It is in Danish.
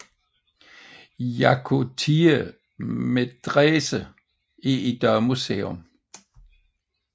Yakutiye Medrese er i dag museum